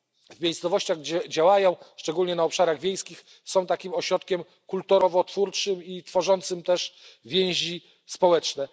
w miejscowościach, gdzie działają, szczególnie na obszarach wiejskich, są takim ośrodkiem kulturotwórczym i tworzącym też więzi społeczne.